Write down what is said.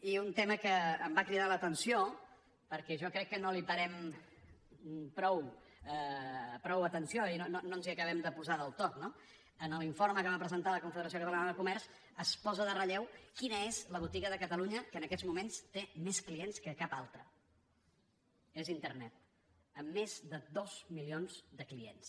i un tema que em va cridar l’atenció perquè jo crec que no hi parem prou atenció i no ens hi acabem de posar del tot no en l’informe que va presentar la confederació catalana de comerç es posa en relleu quina és la botiga de catalunya que en aquests moments té més clients que cap altra és internet amb més de dos mi lions de clients